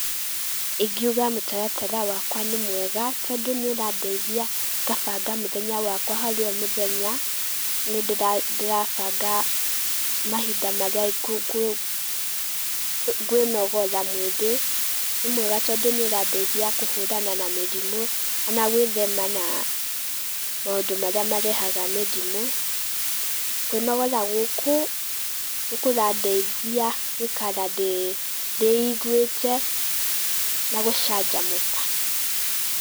Ingiuga mũtaratara wakwa nĩmwega tondũ nĩũrandaithia ngabanga mũthenya wakwa harĩ omũthenya, nĩndĩrabanga mahinda marĩa ngwĩnogora mwĩrĩ, nĩmwega tondũ nĩũrandaithia kũhũrana na mĩrimũ na gwĩthema na maũndũ marĩa marehaga mĩrimũ. Kwĩnogora gũkũ nĩkũrandeithia gũikara ndĩiguĩte na gũcanjamũka.